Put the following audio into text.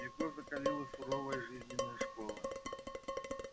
его закалила суровая жизненная школа